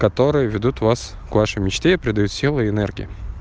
которые ведут вас к вашей мечте придают сил и энергии